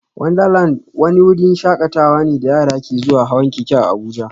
Wundarlandi wani wurin shakatawa ne da yara ke zuwa hawan keke a Abuja